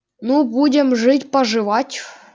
ну будем жить поживать